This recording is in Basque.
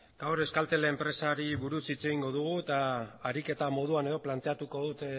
gaur euskaltel enpresari buruz hitz egingo dugu eta ariketa moduan edo planteatuko dut